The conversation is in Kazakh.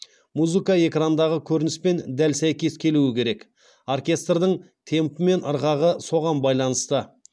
музыка экрандағы көрініспен дәл сәйкес келуі керек оркестрдің темпі пен ырғағы соған байланысты